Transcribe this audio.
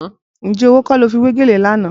Ǹjẹ́ owó kọ́ ló fi wé gèlè lánàá?